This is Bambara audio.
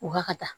U ka ka taa